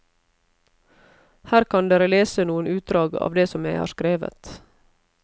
Her kan dere lese noen utdrag av det som jeg har skrevet.